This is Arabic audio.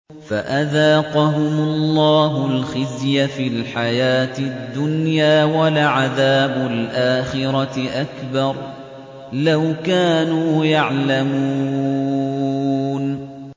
فَأَذَاقَهُمُ اللَّهُ الْخِزْيَ فِي الْحَيَاةِ الدُّنْيَا ۖ وَلَعَذَابُ الْآخِرَةِ أَكْبَرُ ۚ لَوْ كَانُوا يَعْلَمُونَ